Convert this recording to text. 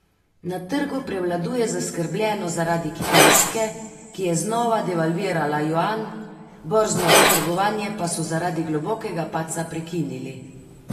Na trgu prevladuje zaskrbljenost zaradi Kitajske, ki je znova devalvirala juan, borzno trgovanje pa so zaradi globokega padca prekinili.